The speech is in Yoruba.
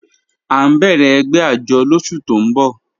A n bẹ̀rẹ̀ ègbẹ̀ àjọ́ lọ́sù tó n bọ̀